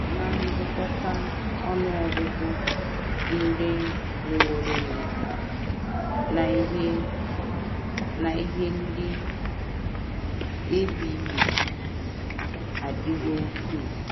Ná ngụkọta, ọnụ ọgụgụ ndị nwụworonụ na ihe na ihe ndị e bibiri adịwo ukwuu.